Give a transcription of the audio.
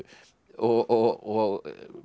og